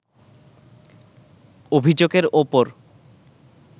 অভিযোগের ওপর